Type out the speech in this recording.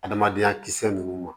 Adamadenya kisɛ ninnu ma